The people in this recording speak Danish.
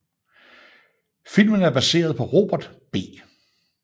Filmen er baseret på Robert B